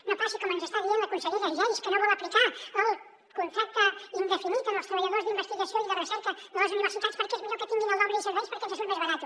no passi com ens està dient la consellera geis que no vol aplicar el contracte indefinit als treballadors d’investigació i de recerca de les universitats perquè és millor que tinguin el d’obra i serveis perquè ens surt més barat